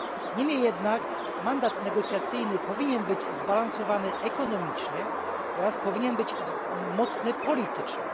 Niemniej jednak mandat negocjacyjny powinien być zbalansowany ekonomicznie oraz powinien być mocny politycznie.